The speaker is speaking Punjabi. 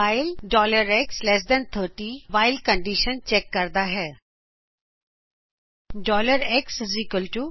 ਵਾਈਲ xlt30whileਕਂਡੀਸ਼ਨ ਚੈਕ ਕਰਦਾ ਹੈਂ